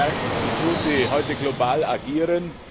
Wir haben es mit Märkten zu tun, die heute global agieren.